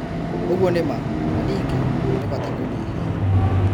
ũguo nĩ ma. Na ningĩ, nĩ bata kũnyihia